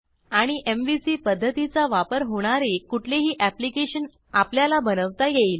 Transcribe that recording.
आणि एमव्हीसी पध्दतीचा वापर होणारे कुठलेही ऍप्लिकेशन आपल्याला बनवता येईल